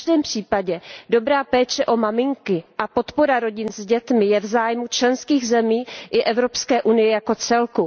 V každém případě dobrá péče o maminky a podpora rodin s dětmi je v zájmu členských zemí i Evropské unie jako celku.